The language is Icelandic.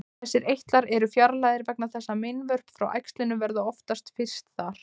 Þessir eitlar eru fjarlægðir vegna þess að meinvörp frá æxlinu verða oftast fyrst þar.